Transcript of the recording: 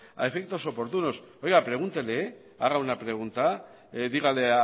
a efectos oportunos oiga pregúntele haga una pregunta dígale